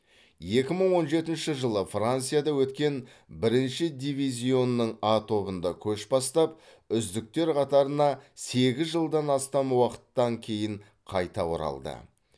екі мың он жетінші жылы францияда өткен бірінші дивизионның а тобында көш бастап үздіктер қатарына сегіз жылдан астам уақыттан кейін қайта оралды